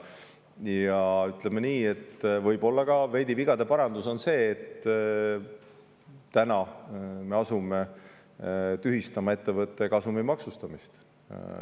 Ja ütleme nii, et võib-olla on vigade parandus veidi ka see, et täna me asume tühistama ettevõtte kasumi maksustamist.